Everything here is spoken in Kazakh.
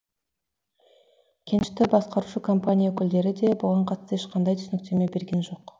кенішті басқарушы компания өкілдері де бұған қатысты ешқандай түсініктеме берген жоқ